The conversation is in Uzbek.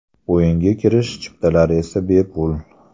O‘yinga kirish chiptalari esa bepul.